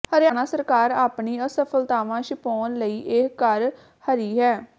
ਹਰਿਆਣਾ ਸਰਕਾਰ ਆਪਣੀ ਅਸਫਲਤਾਵਾਂ ਛਿਪਾਉਣ ਲਈ ਇਹ ਕਰ ਹਰੀ ਹੈ